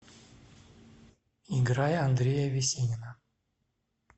играй андрея весенина